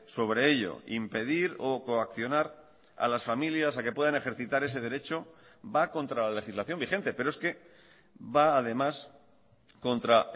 sobre ello impedir o coaccionar a las familias a que puedan ejercitar ese derecho va contra la legislación vigente pero es que va además contra